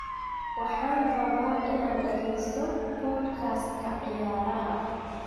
Waxaan rabaa inaan dhageysto podcast-ka ciyaaraha